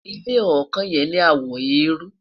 ilé ọkàn yen ní àwo erui